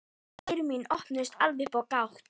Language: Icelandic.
Eyru mín opnuðust alveg upp á gátt.